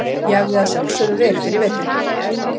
Ég æfði að sjálfsögðu vel yfir veturinn.